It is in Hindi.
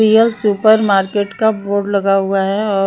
रियल सुपर मार्केट का बोर्ड लगा हुआ है और --